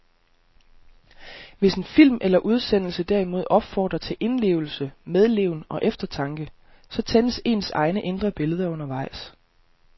Hvis en film eller udsendelse derimod opfordrer til indlevelse, medleven og eftertanke, så tændes ens egne indre billeder undervejs.